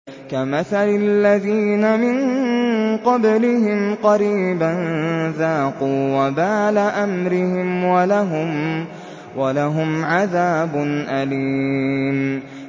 كَمَثَلِ الَّذِينَ مِن قَبْلِهِمْ قَرِيبًا ۖ ذَاقُوا وَبَالَ أَمْرِهِمْ وَلَهُمْ عَذَابٌ أَلِيمٌ